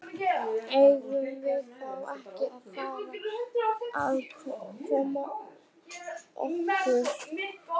Eigum við þá ekki að fara að koma okkur?